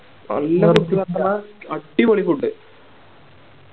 എല്ലാരിക്കും അടിപൊളി Food